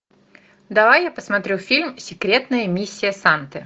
давай я посмотрю фильм секретная миссия санты